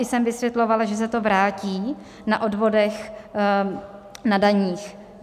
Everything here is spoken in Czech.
I jsem vysvětlovala, že se to vrátí na odvodech na daních.